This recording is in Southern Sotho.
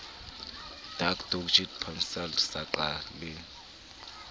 dac doj pansalb saqa le